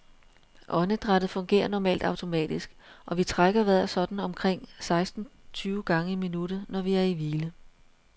Åndedrættet fungerer normalt automatisk, og vi trækker vejret sådan omkring seksten tyve gange i minuttet, når vi er i hvile.